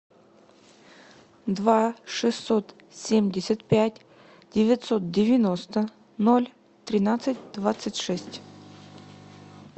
два шестьсот семьдесят пять девятьсот девяносто ноль тринадцать двадцать шесть